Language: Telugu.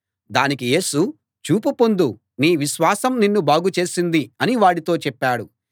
దానికి యేసు చూపు పొందు నీ విశ్వాసం నిన్ను బాగు చేసింది అని వాడితో చెప్పాడు